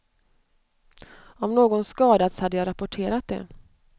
Om någon skadats hade jag rapporterat det.